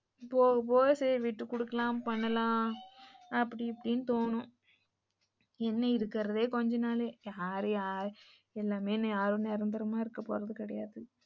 போக போக சரி விட்டு கொடுக்கலாம் பண்ணலாம் அப்படி இப்படின்னு தோணும், என்ன இருக்குறதே கொஞ்ச நாளு யாரு யாரும் நிரந்தரமா இருகபோறது கிடையாது.